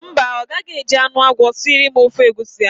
Mba, ọ gaghị eji anụ agwọ siri m ofe egwusi ahụ.